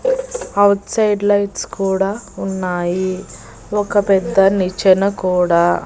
out side lights కూడా ఉన్నాయి ఒక పెద్ద నిచ్చెన కూడా--